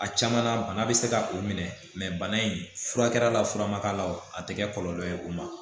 A caman na bana bɛ se ka o minɛ bana in furakɛla la fura ma k'a la o tɛ kɛ kɔlɔlɔ ye o ma